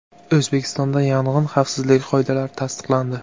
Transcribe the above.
O‘zbekistonda yong‘in xavfsizligi qoidalari tasdiqlandi.